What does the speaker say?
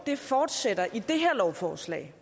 fortsætter i det her lovforslag